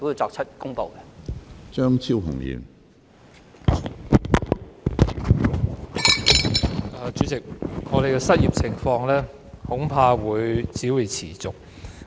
主席，本港的失業問題恐怕將會持續。